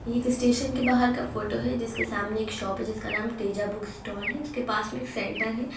ये एक स्टेशन के बाहर का फोटो है जिसके सामने एक शॉप है जिसका नाम है तेजा बुक स्टॅाल है उसके पास मे एक सेंटर है।